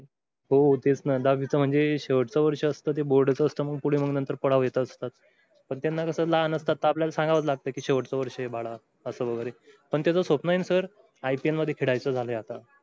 हो तेच ना दहावीचं म्हणजे शेवटचं वर्ष असतं ते board च असतं पुढे मग नंतर पडाव येत असतात, पण त्यांना कसं लहान असतात तर आपल्याला सांगावच लागत कि शेवटचं वर्ष आहे बाळा असं वगैरे पण त्याच स्वप्न आहे ना sirIPL खेळायचं झालाय आता.